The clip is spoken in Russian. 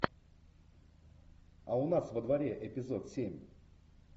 а у нас во дворе эпизод семь